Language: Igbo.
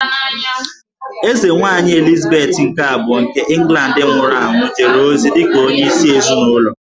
Eze Nwanyị Elizabeth nke Abụọ nke England nwụrụ anwụ jere ozi dịka onye isi ezịnụlọ